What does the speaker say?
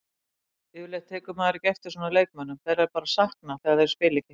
Yfirleitt tekur maður ekki eftir svona leikmönnum, þeirra er bara saknað þegar þeir spila ekki.